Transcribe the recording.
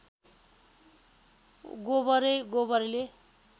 गोबरै गोबरले